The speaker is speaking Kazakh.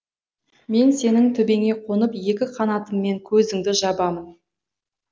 мен сенің төбеңе қонып екі қанатыммен көзіңді жабамын